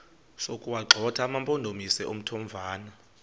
sokuwagxotha amampondomise omthonvama